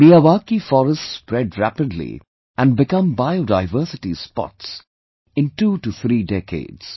Miyawaki forests spread rapidly and become biodiversity spots in two to three decades